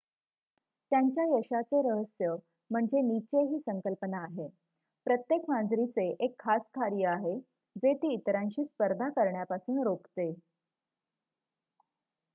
त्यांच्या यशाचे रहस्य म्हणजे निचे ही संकल्पना आहे प्रत्येक मांजरीचे एक खास कार्य आहे जे ती इतरांशी स्पर्धा करण्यापासून रोखते